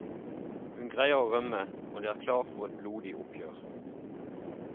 Hun greier å rømme, og det er klart for et blodig oppgjør.